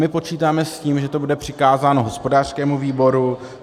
My počítáme s tím, že to bude přikázáno hospodářskému výboru.